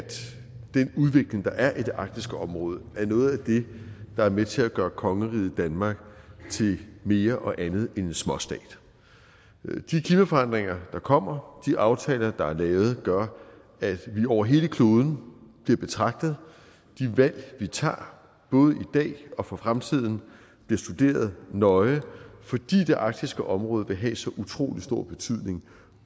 den udvikling der er i det arktiske område er noget af det der er med til at gøre kongeriget danmark til mere og andet end en småstat de klimaforandringer der kommer de aftaler der er lavet gør at vi over hele kloden bliver betragtet de valg vi tager både i dag og for fremtiden bliver studeret nøje fordi det arktiske område vil have så utrolig stor betydning